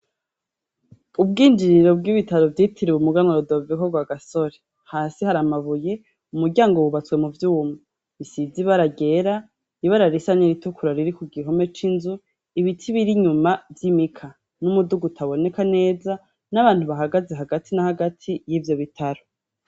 Ubwinjiriro bw'ibitaro vyitiriwe umuganwa Rudoviko Rwagasore hasi hari amabuye umuryango wubatswe mu vyuma bisize ibara ryera, ibara risa n'iritukura riri ku gihome c'inzu, ibiti biri inyuma vy'imika n'umuduga utaboneka neza n'abantu bahagaze hagati na hagati y'ivyo bitaro.